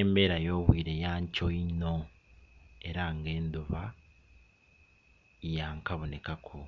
Embera y'obwire ya nkyo inho era nga enduba yakabonekaku,